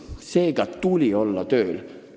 Seega tuli käia tööl.